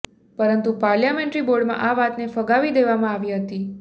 પરંતુ પાર્લામેન્ટરી બોર્ડમાં આ વાતને ફગાવી દેવામાં આવી હતી